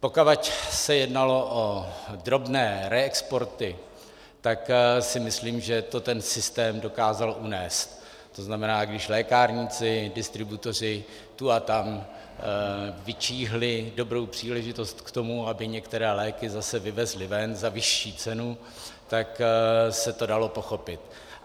Dokud se jednalo o drobné reexporty, tak si myslím, že to ten systém dokázal unést, to znamená, když lékárníci, distributoři tu a tam vyčíhli dobrou příležitost k tomu, aby některé léky zase vyvezli ven za vyšší cenu, tak se to dalo pochopit.